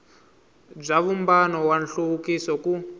bya vumbano wa nhluvukiso ku